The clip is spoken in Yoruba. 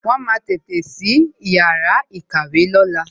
Wọn máa tètè sí yàrá ìkàwé lóla